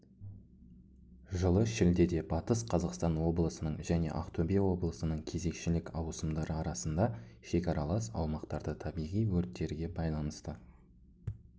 жылы шілдеде батыс қазақстан облысының және ақтөбе облысының кезекшілік ауысымдары арасында шекаралас аумақтарда табиғи өрттерге байланысты